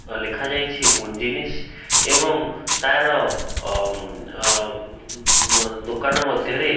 ଲେଖାଯାଇଛି ମୁଞ୍ଜନିସ ଏବଂ ତାର ଅ ଅ ଦୋକାନ ମଧ୍ୟରେ --